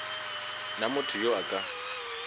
na motho yo a ka